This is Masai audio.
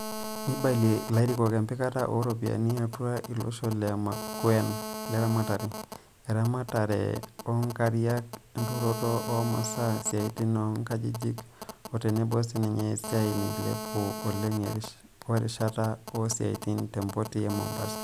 Neibalia ilarikok empikata o ropiyiani atua iloshon le makewan le ramatare, eramatare o nkariak, enturoto o masaa, siatin oonkajijik, o tenebo sininye esiai nailepua oleng o rishata o siatin te mpoti e Mombasa.